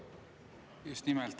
Just nimelt.